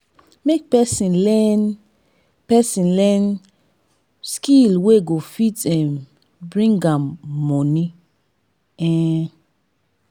make persin learn persin learn skill wey go fit um bring am moni um